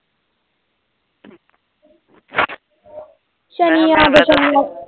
ਸ਼ਨੀ